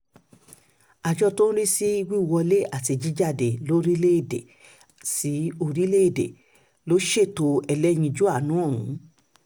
àjọ tó ń rí sí wíwọlé àti jíjáde lórílẹ̀-èdè láwọn orílẹ̀-èdè ló ṣètò ẹlẹ́yinjú àánú ọ̀hún